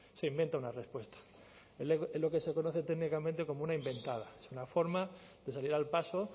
se inventa una respuesta es lo que se conoce técnicamente como una inventada es una forma de salir al paso